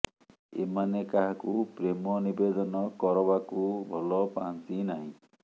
ଏମାନେ କାହାକୁ ପ୍ରେମ ନିବେଦନ କରବାକୁ ଭଲ ପାଆନ୍ତି ନାହିଁ